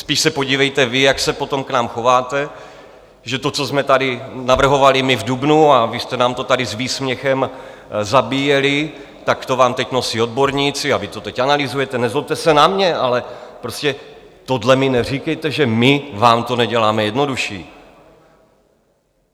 Spíš se podívejte vy, jak se potom k nám chováte, že to, co jsme tady navrhovali my v dubnu, a vy jste nám to tady s výsměchem zabíjeli, tak to vám teď nosí odborníci a vy to teď analyzujete, nezlobte se na mě, ale prostě tohle mi neříkejte, že my vám to neděláme jednodušší.